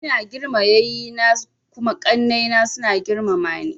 Ina girmama yanni na kuma ƙanai na suna girmama ni.